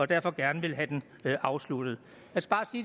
derfor gerne vil have den afsluttet